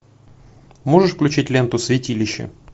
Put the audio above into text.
можешь включить ленту святилище